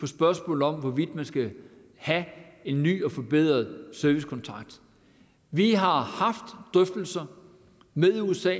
spørgsmålet om hvorvidt man skal have en ny og forbedret servicekontrakt vi har haft drøftelser med usa